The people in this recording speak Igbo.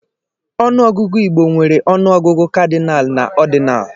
Ọnụọgụgụ Igbo nwere ọnụọgụgụ kadịnaalụ na ọdịnaalụ.